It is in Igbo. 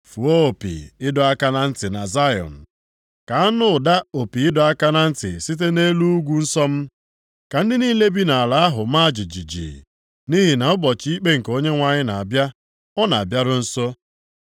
Fụọ opi ịdọ aka na ntị na Zayọn. Ka a nụ ụda opi ịdọ aka na ntị site nʼelu ugwu nsọ m. Ka ndị niile bi nʼala ahụ maa jijiji, nʼihi na ụbọchị ikpe nke Onyenwe anyị na-abịa, ọ na-abịaru nso.